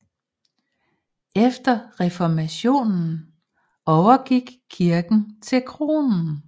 Efter reformationen overgik kirken til kronen